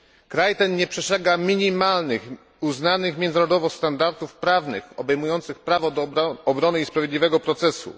Kraj ten nie przestrzega minimalnych, uznanych międzynarodowo standardów prawnych, obejmujących prawo do obrony i sprawiedliwego procesu.